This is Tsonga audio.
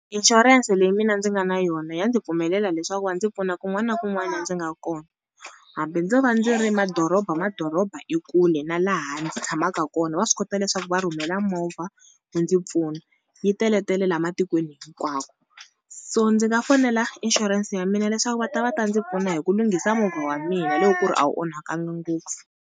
Inshurense leyi mina ndzi nga na yona ya ndzi pfumelela leswaku va ndzi pfuna kun'wana na kun'wani la ndzi nga kona. Hambi ndzo va ndzi ri madoroba, madoroba i kule na laha ndzi tshamaka kona va swi kota leswaku va rhumela movha yi ndzi pfuna, yi teletele la matikweni hinkwako. So ndzi nga fonela inshurense ya mina leswaku va ta va ta ndzi pfuna hi ku lunghisa movha wa mina hi loko ku ri a wu onhakanga ngopfu.